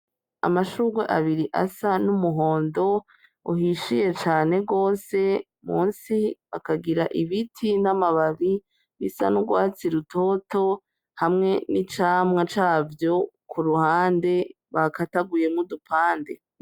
Amashurwe abiri asa n'umuhondo uhishiye cane gose munsi hakagira ibiti n'amababi bisa n'urwatsi rutoto hamwe n'icamwa cavyo ku ruhande bakataguyemwo udupande.